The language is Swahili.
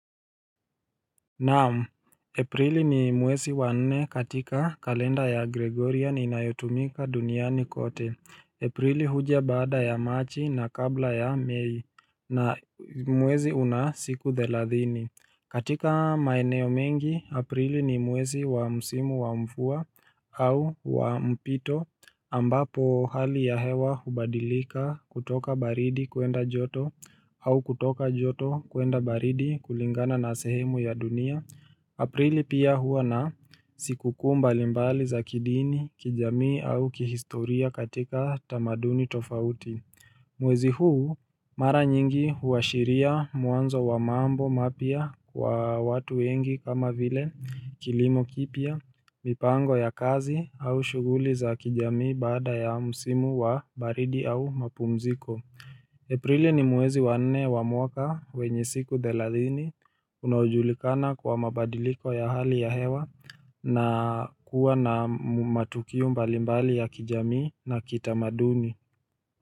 Naam, Aprili ni mwezi wa nne katika kalenda ya Gregorian inayotumika duniani kote. Aprili huja baada ya Machi na kabla ya Mei na mwezi una siku thelathini. Katika maeneo mengi, aprili ni mwezi wa msimu wa mvua au wa mpito ambapo hali ya hewa hubadilika kutoka baridi kwenda joto au kutoka joto kwenda baridi kulingana na sehemu ya dunia. Aprili pia huwa na sikukuu mbalimbali za kidini kijamii au kihistoria katika tamaduni tofauti. Mwezi huu mara nyingi huashiria mwanzo wa mambo mapya kwa watu wengi kama vile kilimo kipya mipango ya kazi au shuguli za kijamii baada ya msimu wa baridi au mapumziko Aprili ni mwwezi wanne wa mwaka wenye siku thelathini unaojulikana kwa mabadiliko ya hali ya hewa na kuwa na matukio mbalimbali ya kijamii na kitamaduni.